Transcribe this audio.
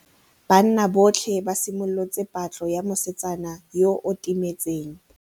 Banna botlhê ba simolotse patlô ya mosetsana yo o timetseng.